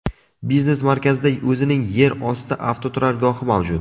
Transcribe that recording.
Biznes markazida o‘zining yer osti avtoturargohi mavjud.